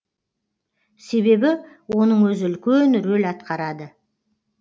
себебі оның өзі үлкен рөл атқарады